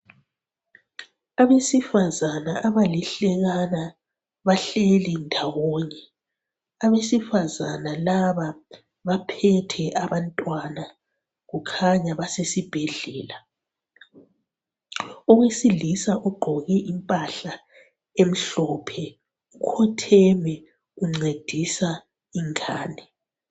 Abesifazana abalihlekana bahleli ndawonye. Abesifazana laba baphethe abantwana, kukhanya basesibhedlala. Owesilisa ugqoke impahla emhlophe, ukhotheme uncedisa ingane.